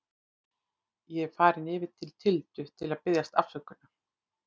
Ég er farinn yfir til Tildu til að biðjast afsökunar.